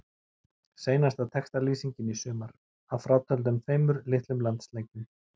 Seinasta textalýsingin í sumar, að frátöldum tveimur litlum landsleikjum.